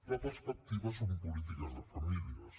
la perspectiva són polítiques de famílies